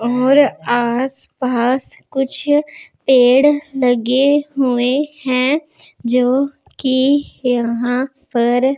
और आस पास कुछ पेड़ लगे हुए हैं जोकि यहां पर--